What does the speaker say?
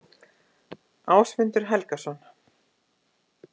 Ásmundur Helgason.